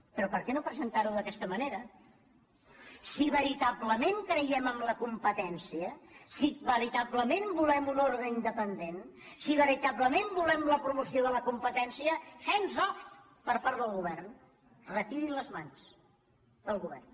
però per què no presentar·ho d’aquesta manera si ve·ritablement creiem en la competència si veritablement volem un ordre independent si veritablement volem la promoció de la competència hands off per part del go·vern retirin les mans del govern